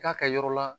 K'a kɛ yɔrɔ la